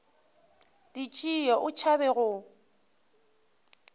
di tšee o tšhaba go